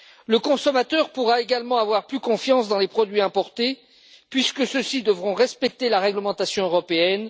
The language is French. Le consommateur pourra également avoir plus confiance dans les produits importés puisque ceux ci devront respecter la réglementation européenne.